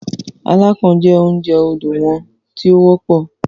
“Alákàn ” jẹ́ oúnjẹ odò wọn tí ó wọ́pọ̀.